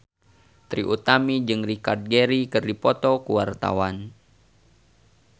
Trie Utami jeung Richard Gere keur dipoto ku wartawan